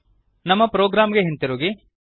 ನಮ್ಮ ಪ್ರೊಗ್ರಾಂಗೆ ಹಿಂದಿರುಗಿರಿ